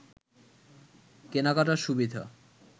কেনাকাটার সুবিধা